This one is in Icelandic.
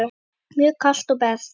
Mjög kalt og bert.